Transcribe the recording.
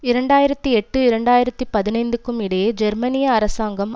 இரண்டு ஆயிரத்தி எட்டு இரண்டு ஆயிரத்தி பதினைந்துக்கும் இடையே ஜெர்மனிய அரசாங்கம்